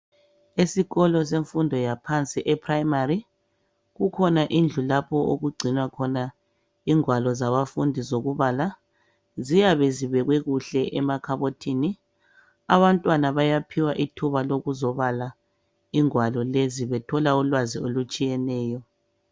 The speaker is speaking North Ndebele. Esikolo senfundo yaphansi e primary, kukhona indlu lapho okugcinwa khona ingwalo zabafundi zokubala. Ziyabe zibekwe kuhle emakhabothini ,abantwana bayaphiwa ithuba lokuzobala ingwalo lezi .Bethola ulwazi olutshiyeneyo.